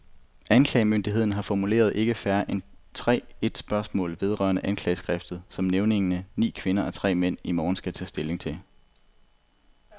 Anklagemyndigheden har formuleret ikke færre end tre et spørgsmål vedrørende anklageskriftet, som nævningerne, ni kvinder og tre mænd, i morgen skal tage stilling til.